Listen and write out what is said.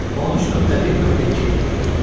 13.1.2.